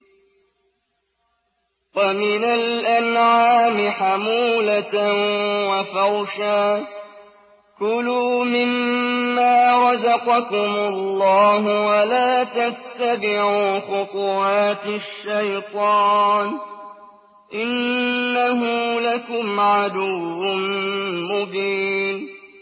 وَمِنَ الْأَنْعَامِ حَمُولَةً وَفَرْشًا ۚ كُلُوا مِمَّا رَزَقَكُمُ اللَّهُ وَلَا تَتَّبِعُوا خُطُوَاتِ الشَّيْطَانِ ۚ إِنَّهُ لَكُمْ عَدُوٌّ مُّبِينٌ